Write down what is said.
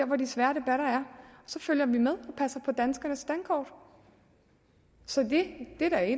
hvor de svære debatter er så følger vi med passer på danskernes dankort så det er da i